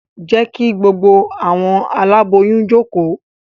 Je ki gbogbo awọn aláboyún joko!